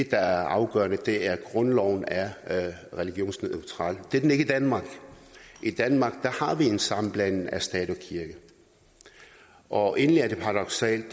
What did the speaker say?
der er afgørende er at grundloven er religionsneutral det er den ikke i danmark i danmark har vi en sammenblanding af stat og kirke og egentlig er det paradoksalt